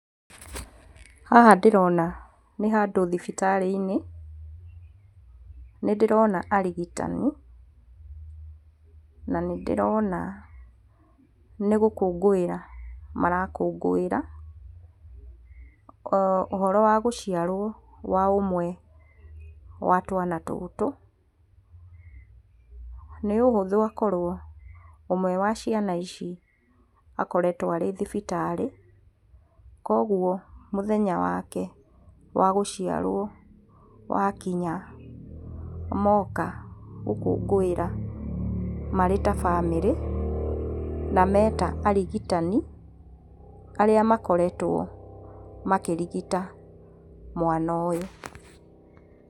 Haha ndĩrona nĩ handũ thibitari-inĩ, nĩ ndĩrona arigitani na nĩ ndĩrona nĩ gũkũngũĩra mara kũngũĩra ũhoro wa gũciarwo gwa ũmwe wa twana tũtũ nĩ ũhũthũ akorwo ũmwe wa ciana ici akoretwo arĩ thibitarĩ koguo mũthenya wake wa gũciarwo wakinya moka gũkũngũĩra marĩ ta bamĩrĩ nameta arigitani arĩa makoretwo makĩrigita mwana ũyũ.